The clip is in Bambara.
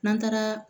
N'an taara